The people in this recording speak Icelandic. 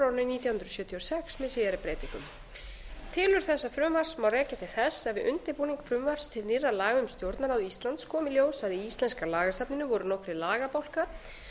nítján hundruð sjötíu og sex með síðari breytingum tilurð þessa frumvarps má rekja til þess að við undirbúning frumvarps til nýrra laga um stjórnarráð íslands kom í ljós að í íslenska lagasafninu voru nokkrir lagabálkar